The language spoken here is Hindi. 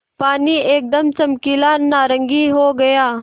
पानी एकदम चमकीला नारंगी हो गया